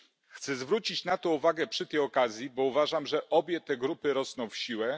Chcę zwrócić na to uwagę przy tej okazji, bo uważam, że obie te grupy rosną w siłę.